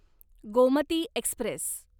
Gomti Express